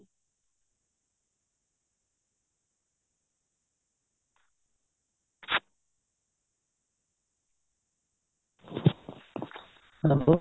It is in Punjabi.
hello